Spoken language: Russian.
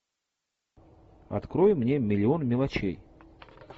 открой мне миллион мелочей